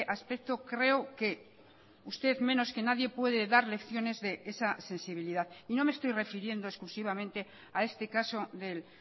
aspecto creo que usted menos que nadie puede dar lecciones de esa sensibilidad y no me estoy refiriendo exclusivamente a este caso del